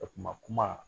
A kuma kuma